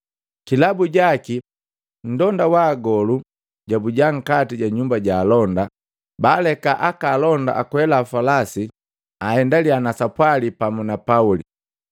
Kilabu jaki nndonda wa magolu jabuja nkati ja nyumba ja alonda, baaleka aka alonda akwela falasi aendaliya na sapwali pamu na Pauli.